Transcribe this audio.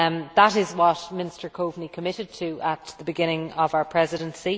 That is what Minister Coveney committed to at the beginning of our Presidency.